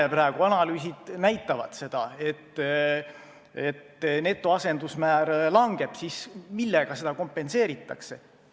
Kui praegu analüüsid näitavad, et netoasendusmäär langeb, siis millega seda kompenseeritakse?